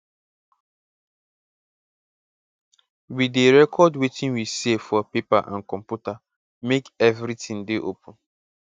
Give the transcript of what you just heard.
we dey record wetin we save for paper and computer make everitin dey open